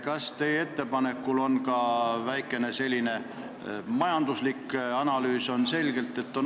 Kas teie ettepanekul on taga ka väikene majanduslik analüüs?